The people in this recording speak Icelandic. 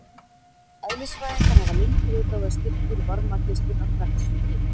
Eðlisfræðingar hafa lengi vitað að styrkur varmageislunar vex með hita.